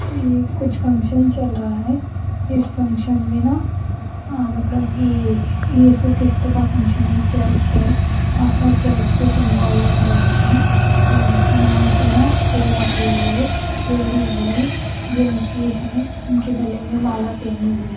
ये कुछ फंक्शन चलरा है इस फंक्शन में ना हा मतलब ये ये इसु क़िस्त का फंक्शन है चर्च है आका चर्च के सिम्बोल लाग रहे है या यापे ना चेयर रखे हुए है लेडीज है जेन्स भी है इनके गले में माला पेनी हुई--